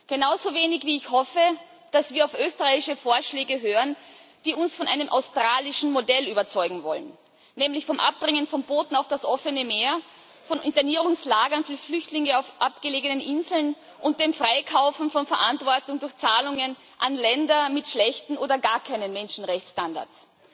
Genauso wenig wie ich hoffe, dass wir auf österreichische Vorschläge hören, die uns von einem australischen Modell überzeugen wollen, nämlich vom Abdrängen von Booten auf das offene Meer, von Internierungslagern für Flüchtlinge auf abgelegenen Inseln und dem Freikaufen von Verantwortung durch Zahlungen an Länder mit schlechten oder gar keinen Menschenrechtsstandards.